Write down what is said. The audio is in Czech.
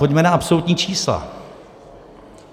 Pojďme na absolutní čísla.